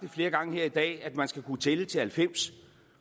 flere gange her i dag sagt at man skal kunne tælle til halvfems